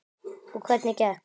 Og hvernig gekk?